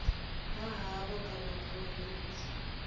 ha havho kana ya phurovintsi